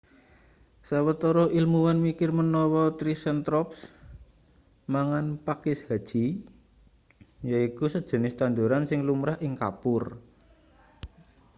sawetara ilmuwan mikir menawa triceratops mangan pakis haji yaiku sejenis tanduran sing lumrah ing kapur